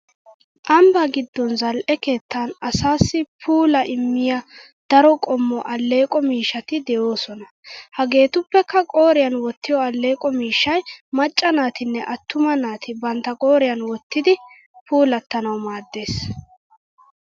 Ambba giddon zal'e keettan asaassi puulaa immiya daro qommo alleeqo miishshati de'oosona. Hageetuppekka qooriyan wottiyo alleeqo miishshay macca naatinne attuma naati bantta qooriyan wottidi. puulattanawu maaddes.